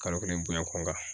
Kalo kelen bonya kunkan